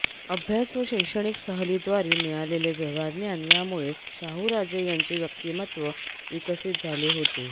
अभ्यास व् शैक्षणिक सहलीद्वारे मिळालेले व्यवहारज्ञान यामुळे शाहूराजे यांचे व्यक्तिमत्व विकसित झाले होते